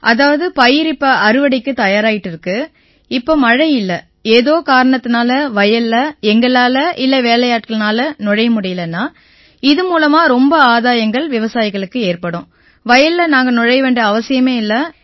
அதாவது பயிர் இப்ப அறுவடைக்கு தயாராயிட்டு இருக்கு இப்ப மழை இல்லை ஏதோ காரணத்தால வயல்ல எங்களால இல்லை வேலையாட்களால நுழைய முடியலைன்னா இவை வாயிலா ரொம்ப ஆதாயங்கள் விவசாயிகளுக்கு ஏற்படும் வயல்ல நாங்க நுழைய வேண்டிய அவசியமே இல்லை